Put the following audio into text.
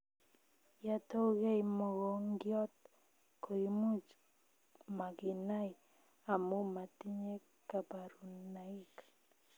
Ya toukei mokongiot koimuch makinai amuu matinye kaparunaik